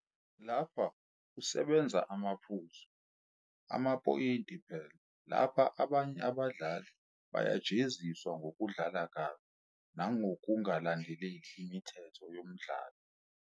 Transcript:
Lapha kusebenza amaphuzu, amaphoyinti phela, lapha abanye abadlali bayajeziswa ngokudlala kabi nangokungalandeli imithetho yomdlalo.